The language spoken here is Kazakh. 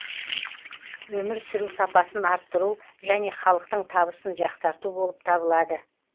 өмір сүру сапасын арттыру және халықтың табысын жақсарту болып табылады